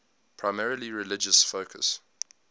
primarily religious focus